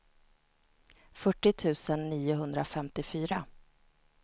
fyrtio tusen niohundrafemtiofyra